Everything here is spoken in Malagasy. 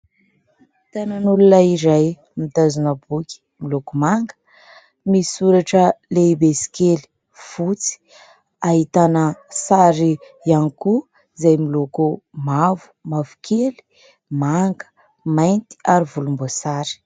Tanan'olona iray, mitazona boky, miloko manga, misy soratra lehibe sy kely, fotsy, ahitana sary ihany koa izay miloko : mavo, mavokely, manga, mainty ary volomboasary.